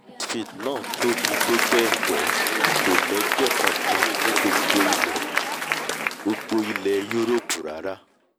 westfield náà tóbi tó bẹ́ẹ̀ gẹ́ kò l’ẹ́gbẹ́ kankan ní gbogbo ilẹ̀ gbogbo ilẹ̀ yúroòpù rárá!